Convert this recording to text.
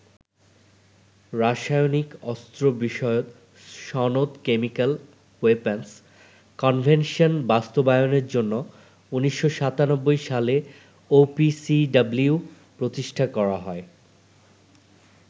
রাসায়নিক অস্ত্র বিষয়ক সনদ কেমিক্যাল ওয়েপন্স কনভেনশন বাস্তবায়নের জন্য ১৯৯৭ সালে ওপিসিডাব্লিউ প্রতিষ্ঠা করা হয়।